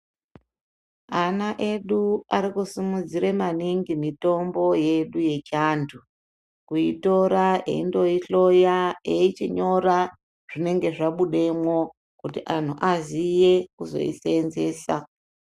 Ana edu ari kusumudzire maningi mitombo yedu yechiantu, kuitora, eindoihloya eichinyora ,zvinenge zvabudemwo, kuti anhu aziye kuzoiseenzesa.